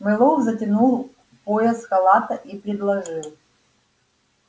мэллоу затянул пояс халата и предложил